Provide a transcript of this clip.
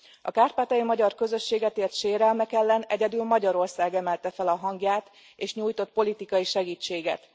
A kárpátaljai magyar közösséget ért sérelmek ellen egyedül Magyarország emelte fel a hangját, és nyújtott politikai segítséget.